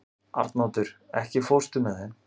Arnoddur, ekki fórstu með þeim?